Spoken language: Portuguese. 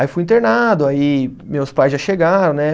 Aí fui internado, aí meus pais já chegaram, né?